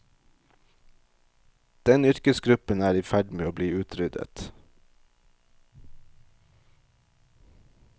Den yrkesgruppen er i ferd med å bli utryddet.